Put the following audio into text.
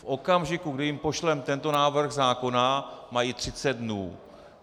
V okamžiku, kdy jim pošleme tento návrh zákona, mají 30 dnů.